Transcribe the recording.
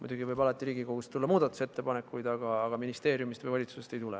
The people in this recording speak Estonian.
Muidugi võib alati Riigikogust tulla muudatusettepanekuid, aga ministeeriumist või valitsusest ei tule.